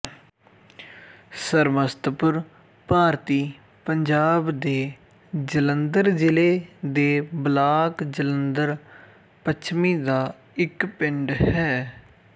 ਸਰਮਸਤਪੁਰ ਭਾਰਤੀ ਪੰਜਾਬ ਦੇ ਜਲੰਧਰ ਜ਼ਿਲ੍ਹੇ ਦੇ ਬਲਾਕ ਜਲੰਧਰ ਪੱਛਮੀ ਦਾ ਇੱਕ ਪਿੰਡ ਹੈ